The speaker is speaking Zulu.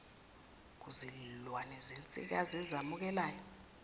kuzilwane zensikazi ezamukelayo